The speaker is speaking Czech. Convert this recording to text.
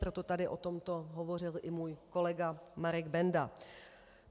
Proto tady o tomto hovořil i můj kolega Marek Benda.